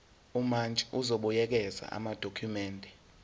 umantshi uzobuyekeza amadokhumende